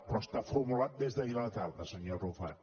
però està formulat des d’ahir a la tarda senyor arrufat